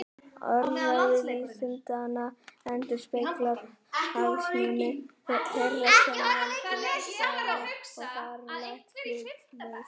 Orðræða vísindanna endurspeglar hagsmuni þeirra sem völdin hafa og er fráleitt hlutlaus.